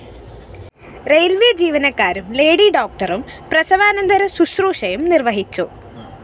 railways ജീവനക്കാരും lady ഡോക്ടറും പ്രസവാനന്തര ശുശ്രൂഷയും നിര്‍വ്വഹിച്ചു